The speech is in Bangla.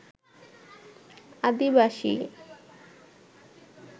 আদিবাসী